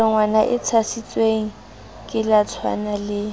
melongwana e tshasitsweng kaletshwana le